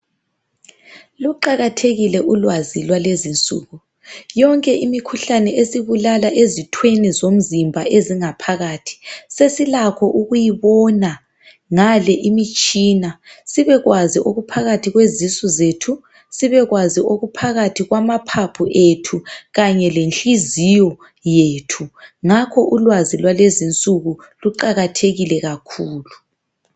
Luqakathekile ulwazi lwalwzinsuku. Yonke imikhuhlane esibulala ezithweni zomzimba ezingaphakathi sesilakho ukuyibona ngale imitshina sibekwazi okuphakathi kwezisu zabantu, sibekwazi okuphakathi kwamaphaphu ethu kanye lenhliziyo yethu ngakho ulwazi lwalezinsuku luqakathekile kakhulu.